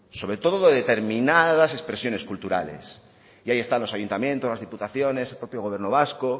sobre todo de determinadas expresiones culturales y ahí están los ayuntamientos las diputaciones el propio gobierno vasco